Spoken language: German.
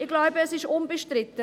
Ich glaube, es ist unbestritten: